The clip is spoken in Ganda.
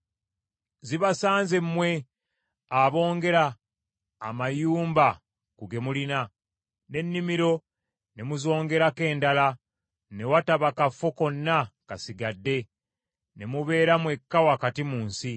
Zibasanze mmwe aboongera amayumba ku ge mulina, n’ennimiro ne muzongerako endala ne wataba kafo konna kasigadde, ne mubeera mwekka wakati mu nsi!